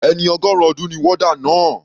Ẹni ọgọrun ọdún ni warder náà.